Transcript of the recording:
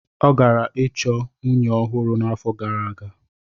Ọ gara ịchọ nwunye ọhụrụ n'afọ gara aga.